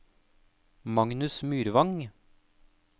Magnus Myrvang